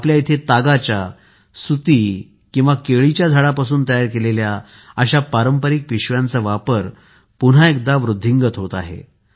आपल्या इथे तागाच्या सुती केळीच्या झाडापासून तयार केलेल्या अशा पारंपरिक पिशव्यांचा वापर पुन्हा एकदा वृद्धिंगत होत आहे